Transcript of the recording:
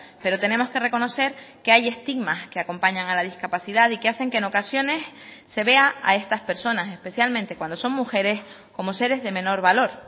pero tenemos que reconocer que hay estigmas que acompañan a la discapacidad y que hacen que en ocasiones se vea a estas personas especialmente cuando son mujeres como seres de menor valor